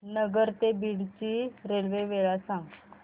नगर ते बीड ची रेल्वे वेळ सांगा